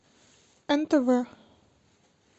нтв